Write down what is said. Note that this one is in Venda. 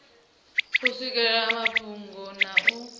u swikelela mafhungo na u